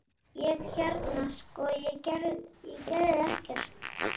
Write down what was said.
Ég- hérna sko- ég gerði ekkert.